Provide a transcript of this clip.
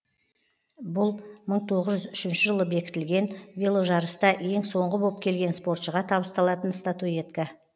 бұл мың тоғыз жүз үшінші жылы бекітілген веложарыста ең соңғы боп келген спортшыға табысталатын статуэтка